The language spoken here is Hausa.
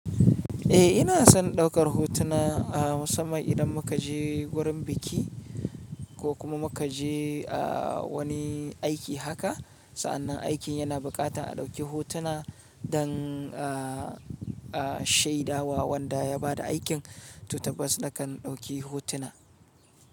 Eh ina son daukar hotuna a musanman idan muka je wurin biki ko kuma muka je ah wani aiki haka. Sa'annan aikin yana buƙatan a ɗauki hotuna dan a shaida wa wanda ya bada aikin. To tabbas nakan ɗauki hotuna.